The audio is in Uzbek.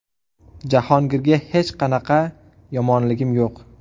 Jahongirga hech qanaqa yomonligim yo‘q.